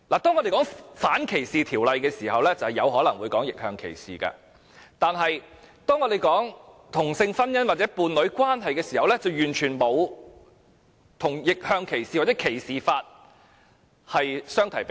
當我們談到反歧視條例時，有可能會談及逆向歧視，但當我們討論同性婚姻或伴侶關係時，完全不能與逆向歧視或歧視法相提並論。